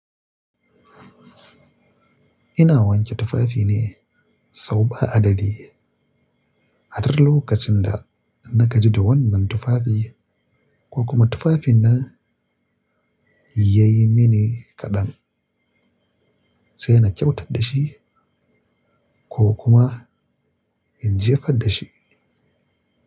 Ina wanke tufafi ne sau ba adadi. A duk lokacin da na gaji da wannan tufafi ko kuma tufafin na ya yi mini kadan, sai na kyautar da shi ko kuma in jefar da shi.